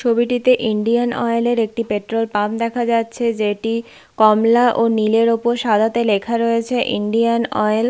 ছবিটিতে Indian Oil -এর একটি পেট্রোল পাম্প দেখা যাচ্ছে যেটি কমলা ও নীলের ওপর সাদাতে লেখা রয়েছে ইন্ডিয়ান অয়েল ।